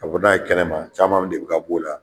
Ka bɔ n'a ye kɛnɛma camanw de be ka b'o la.